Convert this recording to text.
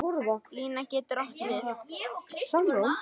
Lína getur átt við